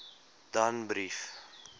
danbrief